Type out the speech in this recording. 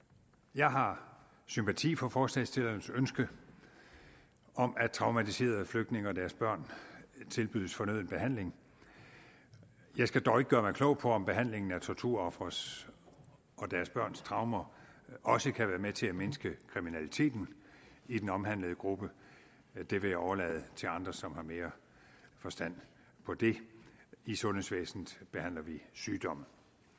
jeg har sympati for forslagsstillernes ønske om at traumatiserede flygtninge og deres børn tilbydes fornøden behandling jeg skal dog ikke gøre mig klog på om behandlingen af torturofres og deres børns traumer også kan være med til at mindske kriminaliteten i den omhandlede gruppe det vil jeg overlade til andre som har mere forstand på det i sundhedsvæsenet behandler vi sygdomme